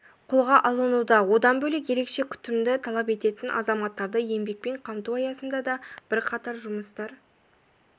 қолға алынуда одан бөлек ерекше күтімді талап ететін азаматтарды еңбекпен қамту аясында да бірқатар жұмыстар